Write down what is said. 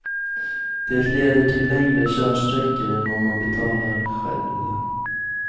Det leder till längre körsträckor än om man betalar själv.